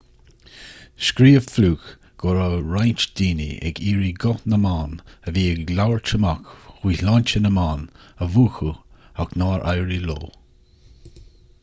scríobh fluke go raibh roinnt daoine ag iarraidh guth na mban a bhí ag labhairt amach faoi shláinte na mban a mhúchadh ach nár éirigh leo